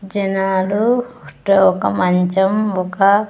జనాలు అంటే ఒక మంచం ఒక.